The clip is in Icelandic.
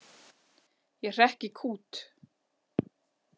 Ég hrekk í kút.